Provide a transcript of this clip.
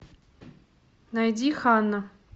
найди ханна